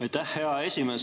Aitäh, hea esimees!